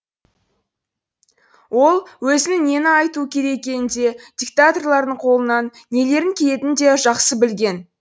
ол өзінің нені айтуы керек екенін де диктаторлардың қолынан нелердің келетінін де жақсы білген